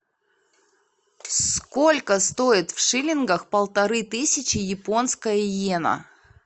сколько стоит в шиллингах полторы тысячи японская йена